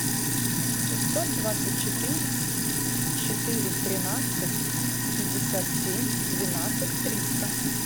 семьсот двадцать четыре четыре тринадцать пятьдесят семь двенадцать триста